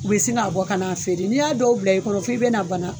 U bɛ sin ka bɔ ka na feere n'i y'a dɔw bila i kɔrɔ f'i bɛ na bana.